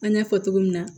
An y'a fɔ cogo min na